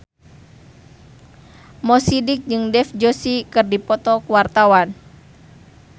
Mo Sidik jeung Dev Joshi keur dipoto ku wartawan